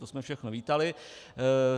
To jsme všechno vítali.